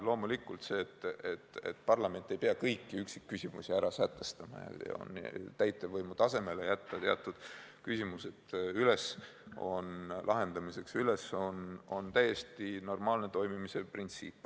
Loomulikult on tavapärane, et parlament ei pea kõiki üksikküsimusi ära sätestama ja teatud küsimuste lahendamise võib jätta täitevvõimu tasemele, see on täiesti normaalne toimimise printsiip.